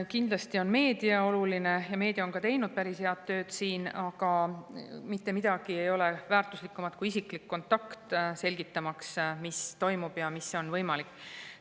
Kindlasti on meedia oluline ja meedia on teinud siin ka päris head tööd, aga mitte miski ei ole väärtuslikum kui isiklik kontakt, selgitamaks, mis toimub ja mis on võimalik.